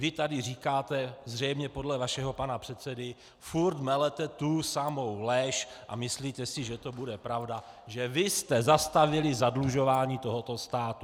Vy tady říkáte, zřejmě podle vašeho pana předsedy - furt melete tu samou lež a myslíte si, že to bude pravda, že vy jste zastavili zadlužování tohoto státu.